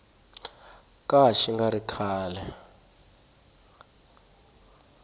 ka xi nga ri kahle